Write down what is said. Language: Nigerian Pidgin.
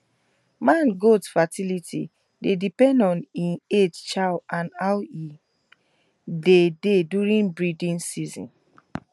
man goats fertility dey depend on e age chow and and how e body dey during breeding season